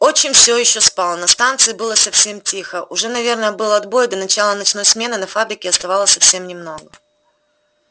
отчим все ещё спал на станции было совсем тихо уже наверное был отбой и до начала ночной смены на фабрике оставалось совсем немного